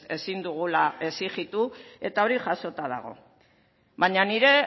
ezin dugula exijitu eta hori jasota dago baina nire